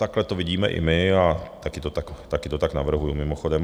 Takhle to vidíme i my a také to tak navrhuji mimochodem.